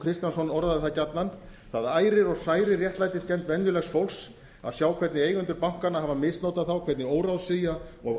kristjánsson orðaði það gjarnan það ærir og særir réttlætiskennd venjulegs fólks að sjá hvernig eigendur bankanna hafa misnotað þá hvernig óráðsía og